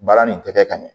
Baara nin tɛ kɛ ka ɲɛ